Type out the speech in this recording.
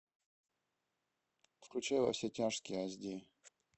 включай во все тяжкие аш ди